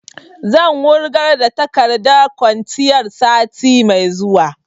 Zan wurgar da takardar kwanciyar sati mai zuwa